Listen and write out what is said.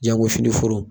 Jango fini foro